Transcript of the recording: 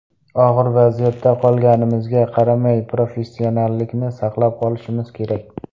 Og‘ir vaziyatda qolganimizga qaramay, professionallikni saqlab qolishimiz kerak.